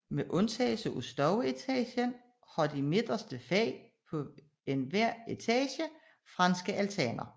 Med undtagelse af stueetagen har de midterste fag på hver etage franske altaner